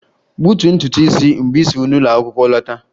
Gbutuo ntutu isi mgbe ị si n'ụlọ akwụkwọ lọta!